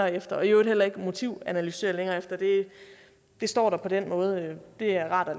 efter og i øvrigt heller ikke foretage motivanalyse på det står der på den måde det er rart at